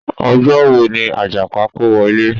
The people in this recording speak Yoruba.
Ọjọ́ wo ni Àjàpá kówọ ilé?